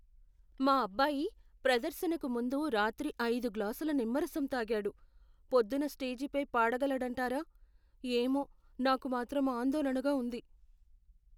మా అబ్బాయి ప్రదర్శనకు ముందు రాత్రి ఐదు గ్లాసుల నిమ్మరసం తాగాడు, పొద్దున్న స్టేజిపై పాడగలడంటారా? ఏమో! నాకు మాత్రం ఆందోళనగా ఉంది.